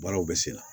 Baaraw bɛ sen na